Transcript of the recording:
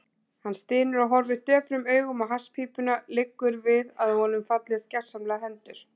Hann stynur og horfir döprum augum á hasspípuna, liggur við að honum fallist gersamlega hendur.